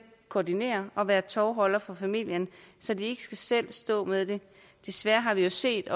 koordinere og være tovholder for familien så de ikke selv skal stå med det desværre har vi jo set